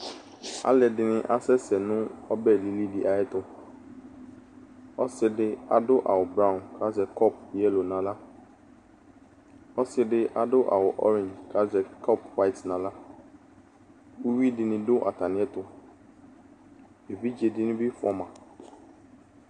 Alʋ ɛdini asɛsɛ nʋ ɔbɛ lili di ayɛtuƆsidi adʋ awu blau, kazɛ kɔpu yellow naɣlaƆsidi adu awu orange kazɛ kɔpu white naɣlaUwui dini dʋ atamiɛtuEvidze dini bi fuama